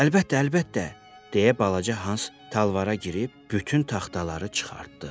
Əlbəttə, əlbəttə, deyə balaca Hans talvara girib bütün taxtaları çıxartdı.